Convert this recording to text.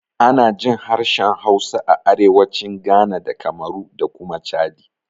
Ana jin harshen Hausa a arewacin Ghana da Kamaru da kuma Chadi.